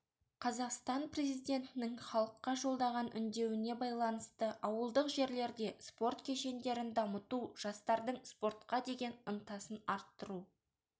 қазақстан президентінің халыққа жолдаған үндеуіне байланысты ауылдық жерлерде спорт кешендерін дамыту жастардың спортқа деген ынтасын арттыру